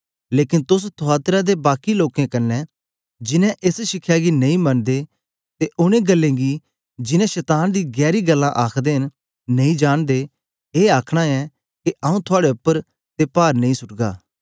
लेकन तोस थुआतीरा ते बाकी लोकें कन्ने जिन्नें एस शिखया गी नेई मनदे ते ओनें गल्लें गी जिनैं शतान दी गैरी गल्लां आखदे न नेई जांनदे ए आखना ऐ के आऊँ थआड़े उपर ते पार नेई सुट्गा